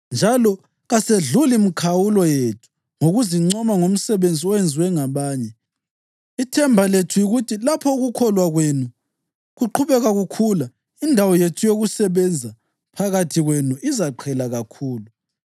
Njalo kasedluli mikhawulo yethu ngokuzincoma ngomsebenzi owenziwe ngabanye. Ithemba lethu yikuthi lapho ukukholwa kwenu kuqhubeka kukhula, indawo yethu yokusebenza phakathi kwenu izaqhela kakhulu,